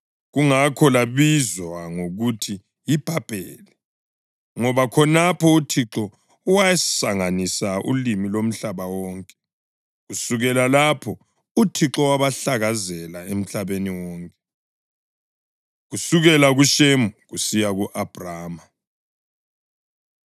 Kungakho labizwa ngokuthi yiBhabheli, ngoba khonapho uThixo wasanganisa ulimi lomhlaba wonke. Kusukela lapho uThixo wabahlakazela emhlabeni wonke. Kusukela KuShemu Kusiya Ku-Abhrama